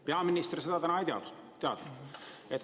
Peaminister seda ei teadnud.